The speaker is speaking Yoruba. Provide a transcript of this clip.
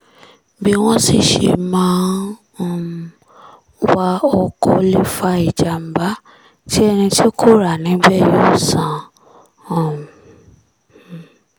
bí wọ́n sì ṣe máa ń um wa ọkọ̀ lè fa ìjàm̀bá tí ẹni tí kò rà níbẹ̀ yóò san um